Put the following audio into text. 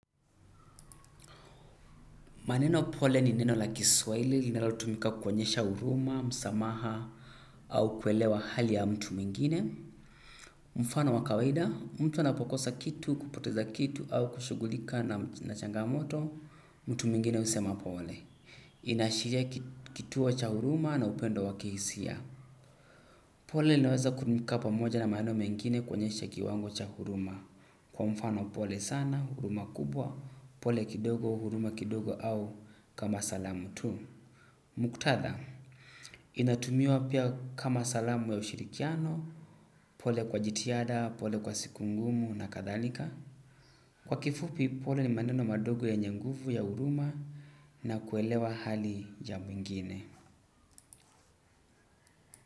Maneno pole ni neno la kiswaili linalotumika kukuwaonyesha huruma, msamaha au kuelewa hali ya mtu mwingine. Mfano wakawaida, mtu anapokosa kitu, kupoteza kitu au kushugulika na na changamoto, mtu mwingine usema pole. Inashiria kituo cha huruma na upendo wa kihisia. Pole linaweza kutumika pamoja na maneno mengine kuonyesha kiwango cha huruma. Kwa mfano pole sana, huruma kubwa, pole kidogo, huruma kidogo au kama salamu tu. Muktatha, inatumiwa pia kama salamu ya ushirikiano, pole kwa jitihada, pole kwa siku ngumu na kathalika. Kwa kifupi pole ni maneno madogo yenye nguvu ya huruma na kuelewa hali ya mwingine.